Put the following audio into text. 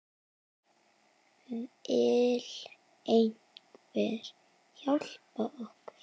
Vill einhver hjálpa okkur?